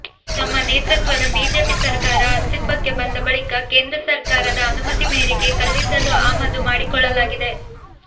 ತಮ್ಮ ನೇತೃತ್ವದ ಬಿಜೆಪಿ ಸರಕಾರ ಆಸ್ತಿತ್ವಕ್ಕೆ ಬಂದ ಬಳಿಕ ಕೇಂದ್ರ ಸರಕಾರದ ಅನುಮತಿ ಮೇರೆಗೆ ಕಲ್ಲಿದ್ದಲು ಆಮದು ಮಾಡಿಕೊಳ್ಳಲಾಗಿದೆ